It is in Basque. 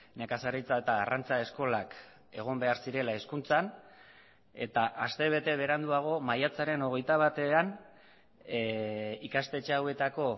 nekazaritza eta arrantza eskolak egon behar zirela hezkuntzan eta astebete beranduago maiatzaren hogeita batean ikastetxe hauetako